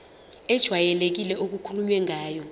ejwayelekile okukhulunywe ngayo